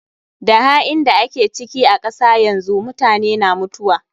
Da hain da ake ciki a kasa yanzu, mutane na mutuwa.